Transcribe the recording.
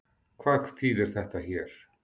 Hvað þýðir þetta hér?